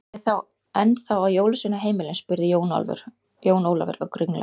Er ég þá ennþá á jólasveinaheimilinu spurði Jón Ólafur, ögn ringlaður.